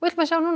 við sjá